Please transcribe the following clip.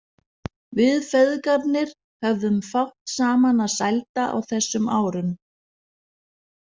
Við feðgarnir höfðum fátt saman að sælda á þessum árum.